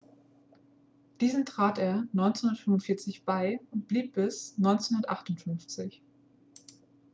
diesen trat er 1945 bei und blieb bis 1958